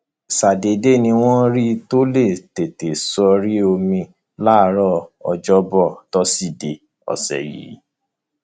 ṣàdédé ni wọn rí i tó lé téńté sórí omi láàárọ ọjọbọ tọsídẹẹ ọsẹ yìí